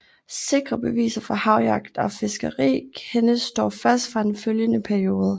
Sikre beviser for havjagt og fiskeri kendes dog først fra den følgende periode